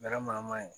Manama yen